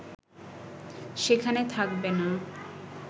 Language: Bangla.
সেখানে থাকবে না